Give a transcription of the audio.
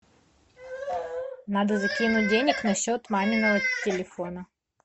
надо закинуть денег на счет маминого телефона